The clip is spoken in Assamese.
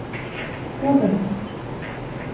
ক'ত আছ?